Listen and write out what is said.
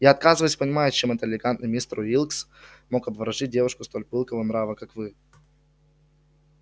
я отказываюсь понимать чем элегантный мистер уилкс мог обворожить девушку столь пылкого нрава как вы